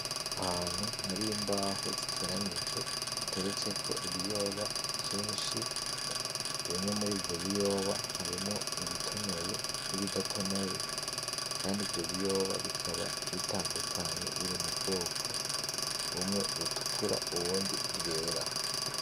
Ahantu har'imbaho ziteranije hateretseko ibiyoba vyinshi, bimwe mur'ivyo biyoba harimwo ibitonoye n'ibidatonoye kandi ivyo biyoba bikaba bitandukanye biri mu bwoko bumwe butukura ubundi bwera.